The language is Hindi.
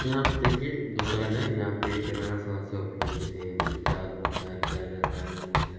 यहाँ पे देखिये दुकान है यहाँ पे किराना सामान सब जो चाहिए देखिये आलू रखा है मूली र--